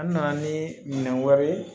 An nana ni minɛn wɛrɛ ye